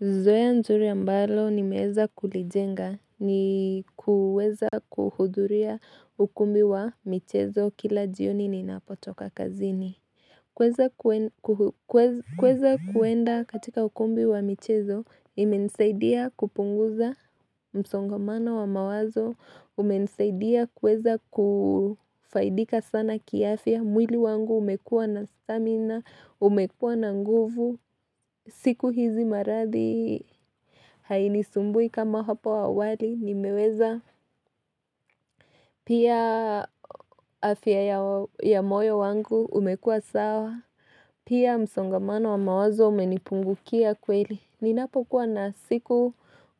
Zoea nzuri ambalo nimeweza kulijenga ni kuweza kuhuduria ukumbi wa michezo kila jioni ninapotoka kazini. Kweza kuenda katika ukumbi wa michezo, imensaidia kupunguza msongamano wa mawazo, umensaidia kweza kufaidika sana kiafia, mwili wangu umekua na stamina, umekua na nguvu, siku hizi maradhi haini sumbui kama hapo awali, nimeweza pia afia ya moyo wangu umekua sawa Pia msongamano wa mawazo umenipungukia kweli Ninapo kuwa na siku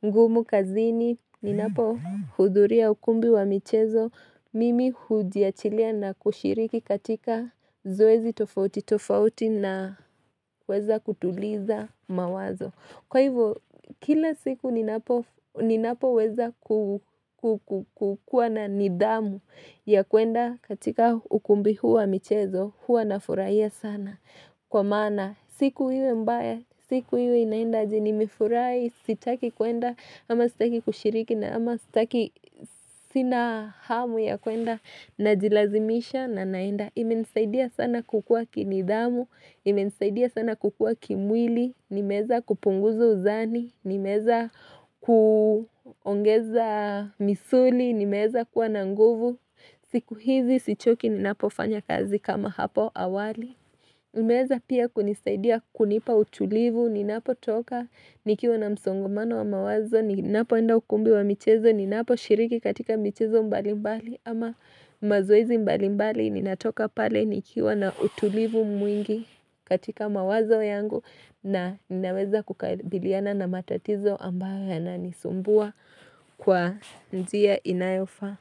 ngumu kazini Ninapohuduria ukumbi wa michezo Mimi hujiachilia na kushiriki katika zoezi tofauti tofauti na huweza kutuliza mawazo Kwa hivyo, kila siku ninapoweza kukua na nidamu ya kuenda katika ukumbi huwa michezo huwa nafurahia sana kwa msana siku iwe mbaya siku hiwe inaenda jini mifurai sitaki kuenda ama sitaki kushiriki na ama sitaki sina hamu ya kuenda najilazimisha na naenda imenisaidia sana kukua kinidamu imenisaidia sana kukua kimwili, nimeza kupunguzo uzani, nimeza kuongeza misuli, nimeeza kuwa nanguvu siku hizi sichoki ninapofanya kazi kama hapo awali. Umeweza pia kunisaidia kunipa utulivu ninapo toka nikiwa na msongomano wa mawazo ninapoenda ukumbi wa michezo ninapo shiriki katika michezo mbalimbali ama mazoizi mbalimbali ninatoka pale nikiwa na utulivu mwingi katika mawazo yangu na ninaweza kukabiliana na matatizo ambayo yananisumbua kwa njia inayofa.